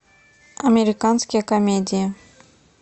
американские комедии